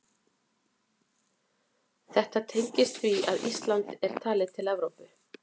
Þetta tengist því að Ísland er talið til Evrópu.